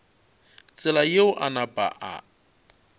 tsela yeo a napa a